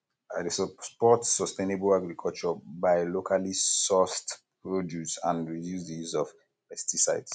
i dey support sustainable agriculture by locally sourced produce and reduce di use of pesticides